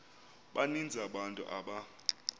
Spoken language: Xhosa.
baninzi abantu aba